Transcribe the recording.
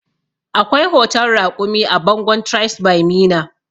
Akwai hoton raƙumi a bangon tribes by meena